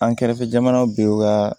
An kɛrɛfɛ jamanaw bɛ ka